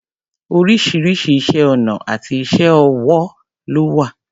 Oríṣiríṣi iṣẹ́ ọnà àti iṣé ọwọ́ ló wà.